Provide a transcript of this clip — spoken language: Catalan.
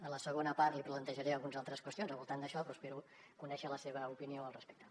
en la segona part li plantejaré algunes altres qüestions al voltant d’això però espero conèixer la seva opinió al respecte